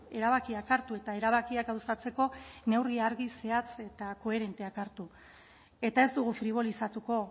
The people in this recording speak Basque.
erabakiak hartu eta erabakiak gauzatzeko neurri argi zehatz eta koherenteak hartu eta ez dugu fribolizatuko